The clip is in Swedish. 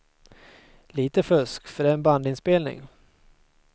Lite fusk, för det är en bandinspelning.